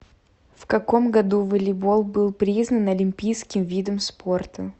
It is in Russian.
в каком году волейбол был признан олимпийским видом спорта